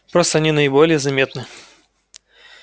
просто они наиболее заметны